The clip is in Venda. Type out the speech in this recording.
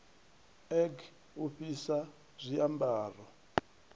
e g u fhisa zwiambaro